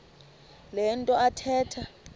le nto athetha